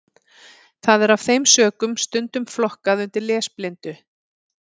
Það er af þeim sökum stundum flokkað undir lesblindu.